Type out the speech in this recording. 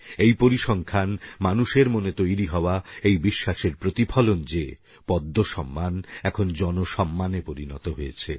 এই পরিসংখ্যান মানুষের মনে তৈরী হওয়া এই বিশ্বাসের প্রতিফলন যে পদ্মসম্মান এখন জনসম্মান এ পরিণত হয়েছে